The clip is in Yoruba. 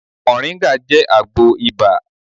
Mọ̀nríńgà jẹ́ àgbo ibà